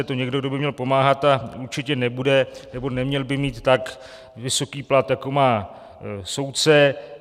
Je to někdo, kdo by měl pomáhat, a určitě nebude nebo neměl by mít tak vysoký plat, jako má soudce.